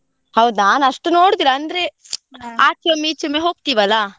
ಹೌದ್ ನಾನಷ್ಟು ನೋಡುದಿಲ್ಲ ಅಂದ್ರೆ, ಈಚೆ ಒಮ್ಮೆ ಹೋಗ್ತೀವಲ್ಲ?